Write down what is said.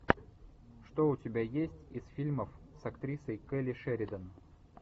что у тебя есть из фильмов с актрисой келли шеридан